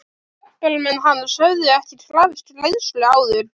Hjálparmenn hans höfðu ekki krafist greiðslu áður.